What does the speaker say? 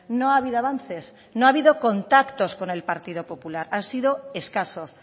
no ha habido avances no ha habido contactos con el partido popular han sido escasos